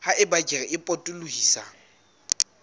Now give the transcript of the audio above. ha eba kere e potolohisang